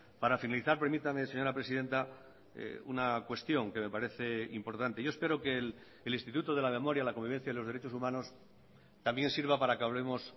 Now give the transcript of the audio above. para finalizar permítame señora presidenta una cuestión que me parece importante yo espero que el instituto de la memoria la convivencia y los derechos humanos también sirva para que hablemos